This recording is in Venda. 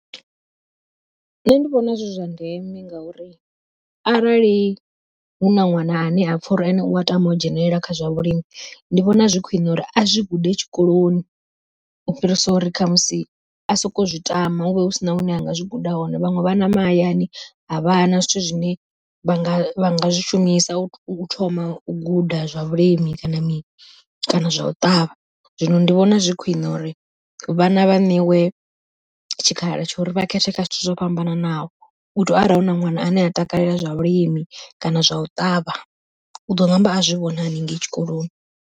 Nṋe ndi vhona zwi zwa ndeme ngauri arali huna ṅwana ane a pfha uri ene u a tama u dzhenelela kha zwa vhulimi, ndi vhona zwi khwiṋe uri a zwi gude tshikoloni, u fhirisa uri khamusi a soko zwi tama husina hune a nga zwi guda hone. Vhaṅwe vhana mahayani a vha na zwithu zwine vha nga zwishumisa u thoma u guda zwa vhulimi kana mini kana zwa u ṱavha, zwino ndi vhona zwi khwiṋe uri vhana vha ṋewe tshikhala tsha uri vha khethe kha zwithu zwo fhambananaho u tori arali hu na ṅwana ane a takalela zwa vhulimi kana zwa u ṱavha, u ḓo ṋamba a zwi wana haningei tshikoloni.